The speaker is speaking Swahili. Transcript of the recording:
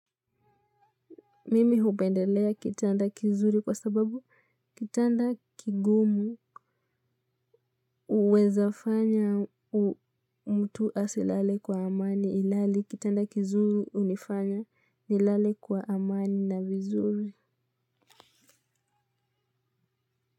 Mimi hupendelea kitanda kizuri kwa sababu kitanda kigumu huwezafanya mtu asilale kwa amani ilhali kitanda kizuri hunifanya nilale kwa amani na vizuri.